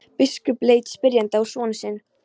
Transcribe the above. Biskup leit spyrjandi á son sinn.